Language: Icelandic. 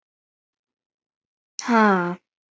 Augun stór, augnhárin löng eins og á stúlku.